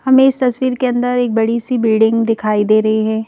हमें इस तस्वीर के अंदर एक बड़ी सी बिल्डिंग दिखाई दे रही है।